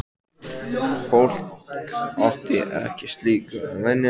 Fólk átti ekki slíku að venjast.